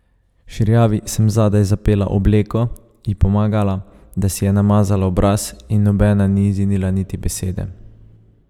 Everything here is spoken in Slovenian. Širjavi sem zadaj zapela obleko, ji pomagala, da si je namazala obraz, in nobena ni zinila niti besede.